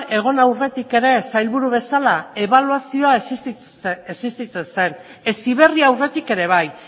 egon aurretik ere sailburu bezala ebaluazioa existitzen zen heziberri aurretik ere bai